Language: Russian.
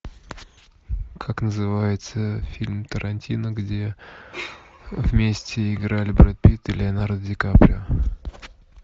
как называется фильм тарантино где вместе играли брэд питт и леонардо ди каприо